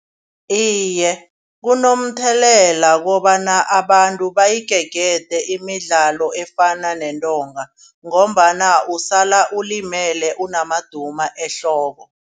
Iye kunomthelela kobana abantu bayigegede imidlalo efana nentonga ngombana usala ulimele unamaduma ehloko.